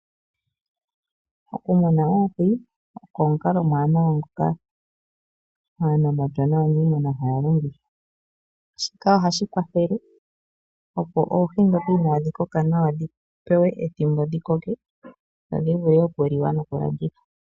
Oku muna oohi oko omukalo omuwanawa ngoka aanamapya naaniimuna haya longitha, shika ohashi kwathele opo oohi dhoka inaadhi koka nawa dhi pewe ethimbo dhi koke, dhi vule okuli wa noku landithwa.